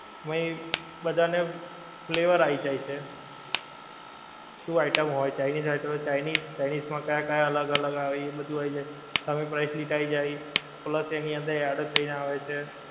બધાના flavour આવી જાય છે. શું item હોય? ચાઇનિજ item હોય તો ચાઇનિજ માં કયા કયા અલગ અલગ આવે એ બધુ આવી જાય સામે price list આવી જાય plus એની અંદર add થઈને આવે છે